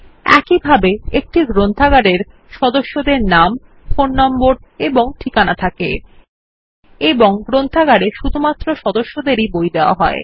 একইভাবে একটি গ্রন্থাগার এর সদস্যদের নাম ফোন নম্বর এবং ঠিকানা থাকে এবং গ্রন্থাগার এ শুধুমাত্র সদস্যদেরই বই দেওয়া হয়